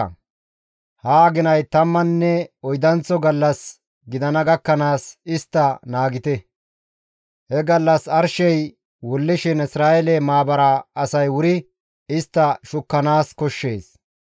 Ha aginay tammanne oydanththo gallas gidana gakkanaas istta naagite; he gallas arshey wullishin Isra7eele maabara asay wuri istta shukkanaas koshshees.